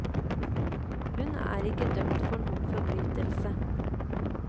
Hun er ikke dømt for noen forbrytelse.